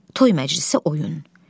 Toy məclisi oyun.